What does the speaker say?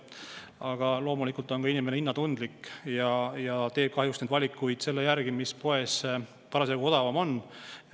Aga loomulikult on inimene hinnatundlik ja teeb kahjuks sageli valikuid selle järgi, mis poes parasjagu odavam on.